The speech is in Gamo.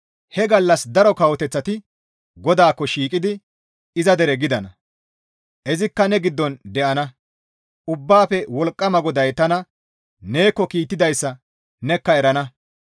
He gallas daro kawoteththati GODAAKKO shiiqidi iza dere gidana; izikka ne giddon de7ana; Ubbaafe Wolqqama GODAY tana neekko kiittidayssa nekka erana.